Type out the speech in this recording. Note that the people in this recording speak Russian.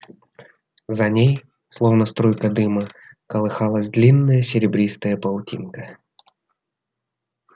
за ней словно струйка дыма колыхалась длинная серебристая паутинка